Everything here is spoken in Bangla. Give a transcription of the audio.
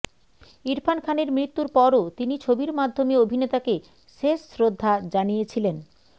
ইরফান খানের মৃত্যুর পরও তিনি ছবির মাধ্যমে অভিনেতাকে শেষ শ্রদ্ধা জানিয়েছিলেন